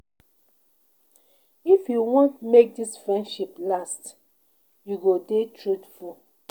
If you want make dis friendship last, you go dey truthful.